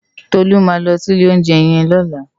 Tolu má lò si ilé óunjè yèn lòlá